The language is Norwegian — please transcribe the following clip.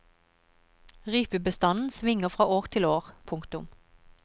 Rypebestanden svinger fra år til år. punktum